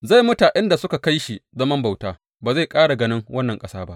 Zai mutu a inda suka kai shi zaman bauta; ba zai ƙara ganin wannan ƙasa ba.